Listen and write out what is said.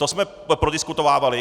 To jsme prodiskutovávali.